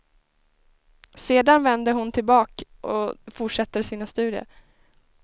Sedan vänder hon tillbaka och fortsätter sina studier.